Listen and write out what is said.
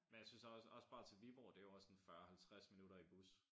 Men jeg synes også også bare til Viborg det jo også en 40 50 minutter i bus